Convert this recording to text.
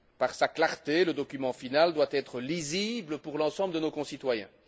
Par sa clarté, le document final doit être lisible pour l'ensemble de nos concitoyens.